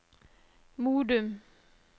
Modum